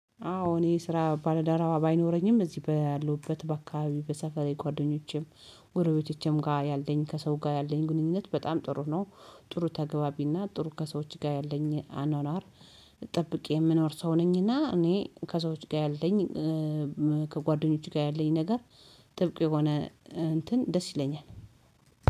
አዎ እኔ ስራ ባለደረባ ባይኖረኝም እዚህ ባለሁበት በአካባቢው በሰፈሬ ጓደኞቼም ጎረቤቶቼም ጋር ያለኝ ከሰው ጋር ያለኝ ግንኙነት በጣም ጥሩ ነው። ጥሩ ተገቢና ጥሩ ከሰዎች ጋር ያለኝ አኗኗር ጠብቄ የምኖር ሰው ነኝና። እኔ ከሰዎች ጋር ያለኝ ከጓደኞች ጋር ያለኝ ነገር ጥብቅ የሆነ እንትን ደስ ይለኛል።